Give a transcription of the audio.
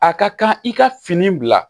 A ka kan i ka fini bila